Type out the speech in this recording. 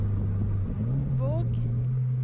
Våg